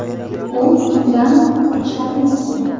U undan qo‘rqishlarini istaydi.